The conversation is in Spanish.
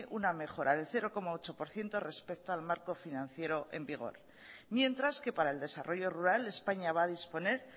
una mejora de cero coma ocho por ciento respecto al marco financiero en vigor mientras que para el desarrollo rural españa va a disponer